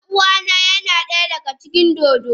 Ɗan uwana yana daya daga cikin dodo.